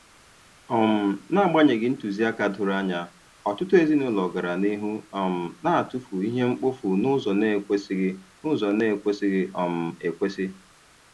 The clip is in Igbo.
um N'agbanyeghị ntụziaka doro anya, ọtụtụ ezinụlọ gara n'ihu um na-atụfu ihe mkpofu n'ụzọ na-ekwesịghị n'ụzọ na-ekwesịghị um ekwesị.